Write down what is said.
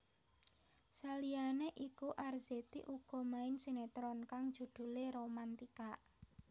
Saliyane iku Arzetti uga main sinetron kang judhulé Romantika